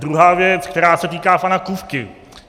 Druhá věc, která se týká pana Kupky.